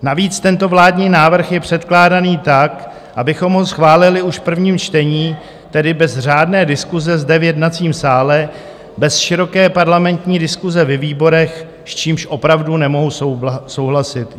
Navíc tento vládní návrh je předkládaný tak, abychom ho schválili už v prvním čtení, tedy bez řádné diskuse zde v jednacím sále, bez široké parlamentní diskuse ve výborech, s čímž opravdu nemohu souhlasit.